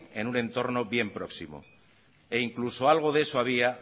en un entorno bien próximo e incluso algo de eso había